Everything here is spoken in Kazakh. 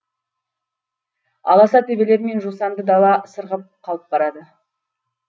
аласа төбелер мен жусанды дала сырғып қалып барады